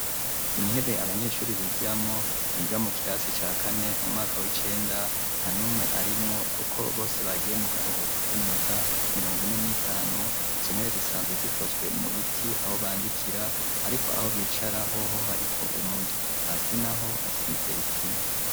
Intebe abanyeshuri bigiramwo biga mu kirasi cakane mu mwaka w'icenda nta n'umwe arimwo kuko bose bagiye mu karuhuko k'iminota mirongo ine n'itanu izo ntebe zisanzwe zikozwe mu biti aho bandikira ariko aho bicara hoho hariko umudo hasi naho hasize isima.